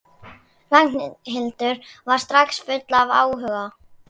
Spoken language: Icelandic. Ragnhildur var strax full af áhuga.